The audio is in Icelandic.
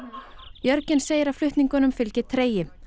Jörgen segir að flutningunum fylgi tregi